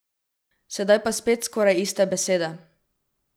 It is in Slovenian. Sedaj pa spet skoraj iste besede.